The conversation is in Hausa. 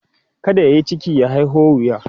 kada yayi ciki ya haiho wuya